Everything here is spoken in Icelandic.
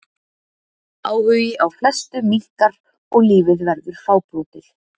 Áhugi á flestu minnkar og lífið verður fábrotið.